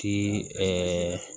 Ti ɛɛ